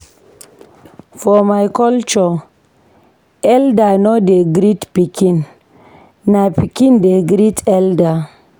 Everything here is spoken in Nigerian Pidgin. For my culture, elda no dey greet pikin, na pikin dey great elda.